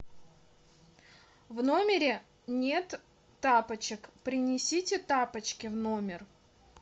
в номере нет тапочек принесите тапочки в номер